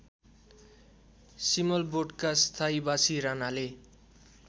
सिमलबोटका स्थायीबासी रानाले